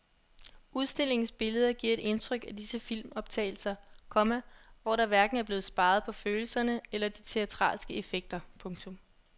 Udstillingens billeder giver et indtryk af disse filmoptagelser, komma hvor der hverken blev sparet på følelserne eller de teatralske effekter. punktum